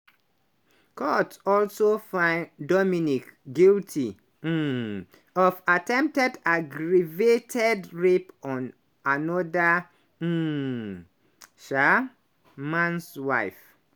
court also find dominique guilty um of attempted aggravated rape on anoda um um mans wife.